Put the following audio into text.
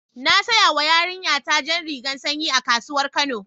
Na saƴawa yarinƴa ta jan rigan sanƴi a kasuwar kano.